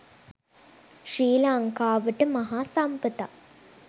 ශ්‍රී ලංකාවට මහා සම්පතක්